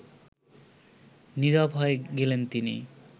নীরব হয়ে গেলেন তিনি